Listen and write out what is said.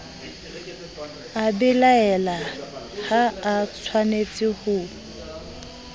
a belaela ha atshwanetse ho